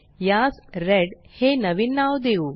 यास रेड हे नवीन नाव देऊ